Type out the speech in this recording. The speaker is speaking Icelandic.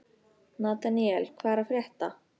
Nataníel, hvað er að frétta?